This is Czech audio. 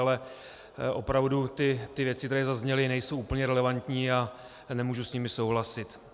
Ale opravdu ty věci, které zazněly, nejsou úplně relevantní a nemůžu s nimi souhlasit.